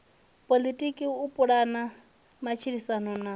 poḽotiki u pulana matshilisano na